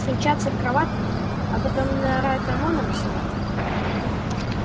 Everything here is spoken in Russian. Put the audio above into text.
встречаются в кроватке а потом наряд омона высылают